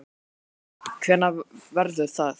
Hafsteinn Hauksson: Hvenær verður það?